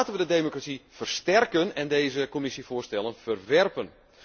Laten wij de democratie versterken en deze commissievoorstellen verwerpen.